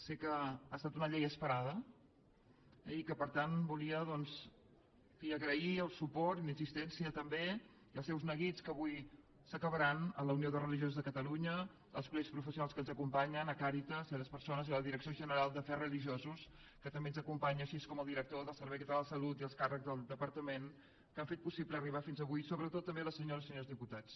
sé que ha estat una llei esperada eh i per tant volia doncs en fi agrair el suport i la insistència també i els seus neguits que avui s’acabaran a la unió de religio sos de catalunya als col·legis professionals que ens acompanyen a càritas a les persones de la direcció general d’afers religiosos que també ens acompanyen així com al director del servei català de la salut i els càrrecs del departament que han fet possible arribar fins avui sobretot també a les senyores i senyors diputats